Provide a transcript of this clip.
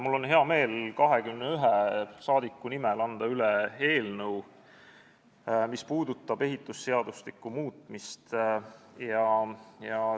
Mul on hea meel 21 rahvasaadiku nimel üle anda eelnõu, mis puudutab ehitusseadustiku muutmist.